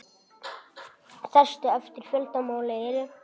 Stærstu eftir fjölda mála eru